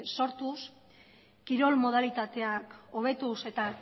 sortuz kirol modalitateak hobetuz eta